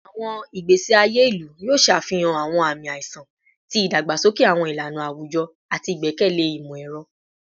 Awọn igbesi aye ilu yoo ṣe afihan awọn aami aiṣan ti idagbasoke awọn ilana awujọ ati igbẹkẹle imọ-ẹrọ